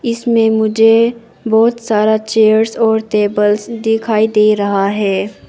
इसमें मुझे बहुत सारा चेयर्स और टेबल्स दिखाई दे रहा है।